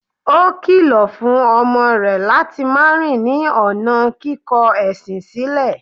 Ó kìlọ̀ fún ọmọ rẹ̀ láti máa rìn ní ọ̀nà kíkọ ẹ̀sìn sílẹ̀.